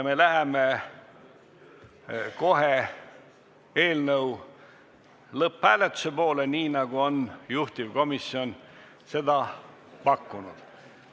Me läheme kohe eelnõu lõpphääletuse juurde, juhtivkomisjon on seda pakkunud.